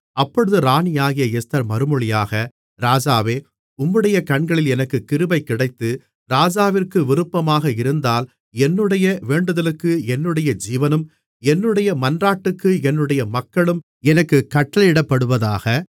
அப்பொழுது ராணியாகிய எஸ்தர் மறுமொழியாக ராஜாவே உம்முடைய கண்களில் எனக்குக் கிருபை கிடைத்து ராஜாவிற்கு விருப்பமாக இருந்தால் என்னுடைய வேண்டுதலுக்கு என்னுடைய ஜீவனும் என்னுடைய மன்றாட்டுக்கு என்னுடைய மக்களும் எனக்குக் கட்டளையிடப்படுவதாக